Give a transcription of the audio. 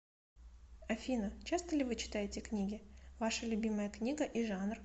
афина часто ли вы читаете книги ваша любимая книга и жанр